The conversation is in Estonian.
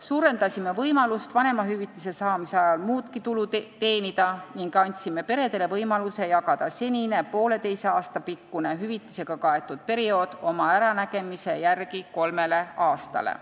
Suurendasime võimalust vanemahüvitise saamise ajal muudki tulu teenida ning andsime peredele võimaluse jagada senine poolteise aasta pikkune hüvitisega kaetud periood oma äranägemise järgi kolmele aastale.